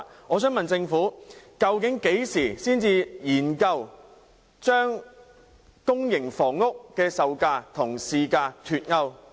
我想問政府究竟何時才會研究把資助公營房屋的售價與市價脫鈎？